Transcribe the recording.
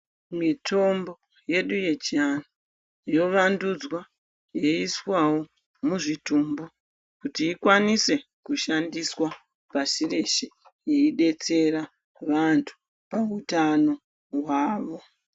Mitombo yedu yechiantu yovandudzwa yoiswawo muzvitumbu kuti ikwaniswe kushandiswa pasi reshe. Yeidetsera vantu pautano hwavo.